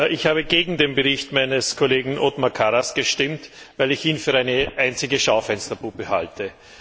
Ich habe gegen den Bericht meines Kollegen Othmar Karas gestimmt, weil ich ihn für eine einzige Schaufensterpuppe halte.